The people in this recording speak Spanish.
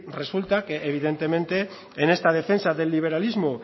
resulta que evidentemente en esta defensa del liberalismo